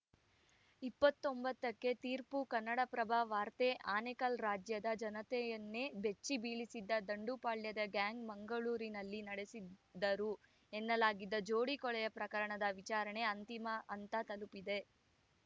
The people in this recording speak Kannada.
ಇಪ್ಪತ್ತ್ ಒಂಬತ್ತಕ್ಕೆ ತೀರ್ಪು ಕನ್ನಡಪ್ರಭ ವಾರ್ತೆ ಆನೇಕಲ್‌ ರಾಜ್ಯದ ಜನತೆಯನ್ನೇ ಬೆಚ್ಚಿಬೀಳಿಸಿದ್ದ ದಂಡುಪಾಳ್ಯದ ಗ್ಯಾಂಗ್‌ ಮಂಗಳೂರಿನಲ್ಲಿ ನಡೆಸಿದ್ದರು ಎನ್ನಲಾಗಿದ್ದ ಜೋಡಿ ಕೊಲೆಯ ಪ್ರಕರಣದ ವಿಚಾರಣೆ ಅಂತಿಮ ಹಂತ ತಲುಪಿದೆ